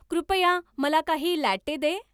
कृपया मला काही लॅट्टे दे